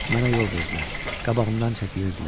Mənə yol verdilər, qabağımdan çəkilirdilər.